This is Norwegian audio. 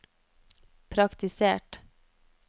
praktisert